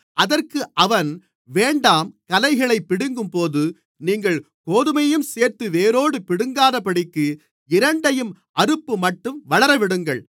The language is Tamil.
அதற்கு அவன் வேண்டாம் களைகளைப் பிடுங்கும்போது நீங்கள் கோதுமையையும்சேர்த்து வேரோடு பிடுங்காதபடிக்கு இரண்டையும் அறுப்புமட்டும் வளரவிடுங்கள்